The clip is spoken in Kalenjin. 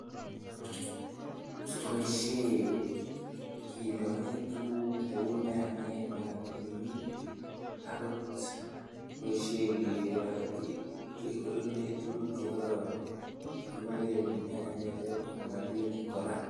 koboisyen kelaen tukuk kou nyanyek, makatinik akot koboisyen kelaen, kekonoren tukuk chekororon, kikonoren nyanyek chon makatinik koraa .